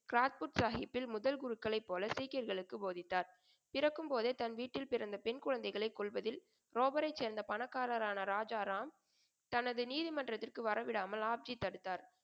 கிராத்புத் சாகிப்பில் முதல் குருக்களைப் போல சீக்கியர்களுக்கு போதித்தார். பிறக்கும் போதே தன் வீட்டில் பிறந்த பெண் குழந்தைகளைக் கொல்வதில் ரோபரைச் சேர்ந்த பணக்காரரான ராஜாராம் தனது நீதிமன்றத்திற்கு வரவிடாமல் ஆப்ஜி தடுத்தார்.